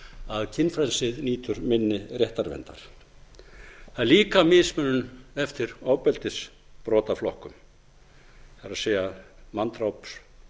að kynfrelsið nýtur minni réttarverndar það er líka mismunun eftir ofbeldisbrotaflokkum það er manndráps